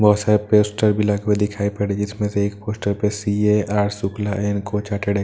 बहुत सारे पोस्टर भी लगे हुए दिखाई पड़े जिसमें से एक पोस्टर पर C A R Shukla and coach अटेड--